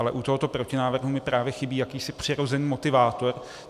Ale u tohoto protinávrhu mi právě chybí jakýsi přirozený motivátor.